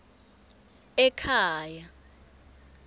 ekhaya